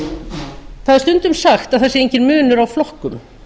það er stundum sagt að það sé enginn munur á flokkum